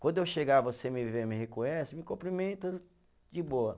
Quando eu chegar, você me vê, me reconhece, me cumprimenta de boa.